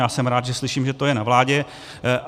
A jsem rád, že slyším, že to je na vládě.